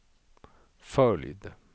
följd